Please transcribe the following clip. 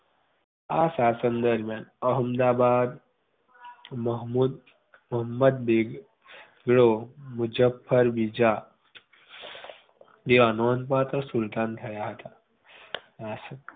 આ શાસન દરમ્યાન અહેમદાબાદ મુહમ્મદ મુહમ્મદ બેગળો મુઝફર બીજા જે નોંધપાત્ર સુલતાન થયા હતા